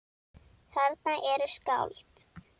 Þarna eru skáld.